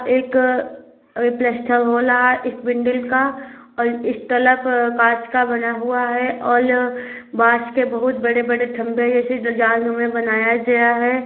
एक रेप्लसेतनत हो रहा है एक बिल्डिंग का और इस तरफ काँच का बना हुआ है और बाँस के बहोत बड़े-बड़े खम्बे जैसे जाल नुमा बनाया गया है।